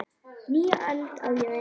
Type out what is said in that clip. Nýja öld, á ég við.